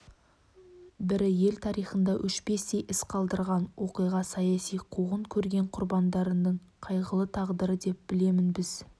бірі ел тарихында өшпестей із қалдырған оқиға саяси-қуғын көрген құрбандарының қайғылы тағдыры деп білемін біз